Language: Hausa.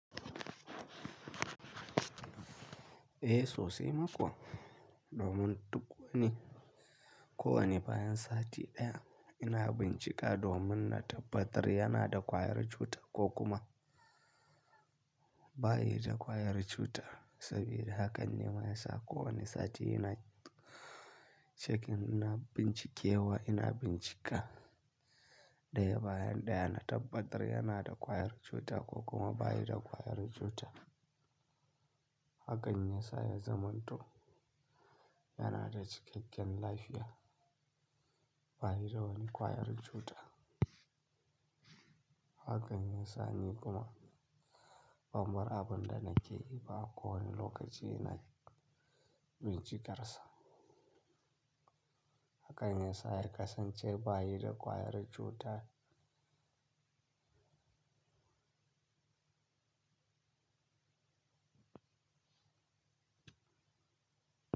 Eh sosai ma kuwa, domin duk wani, ko wane bayan sati ɗaya ina bincika domin na tabbatar yanada ƙwayar cuta ko kuma bayi da ƙwayar cuta. Saboda haka ne mayasa kowane sati ina cikin ina bincikewa, ina bincika daya bayan da yana tabbatar yana da ƙwayar cuta ko kuma bayi da ƙwayar cuta. Hakane yasa ya zama to yana da cikakken lafiya bayi da wani ƙwayar cuta. Hakane sa ni kuma zanbar abinda nake yi ba kowane lokaci ina bincikarsa. Hakane sa har kasance bayi da ƙwayar cuta.